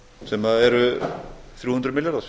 sem eru þrjú hundruð milljarðar